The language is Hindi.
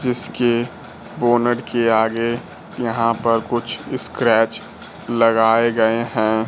जिसके बोनट के आगे यहां पर कुछ स्क्रैच लगाए गए हैं।